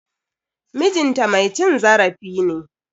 MIjin ta mai cin zarafi ne.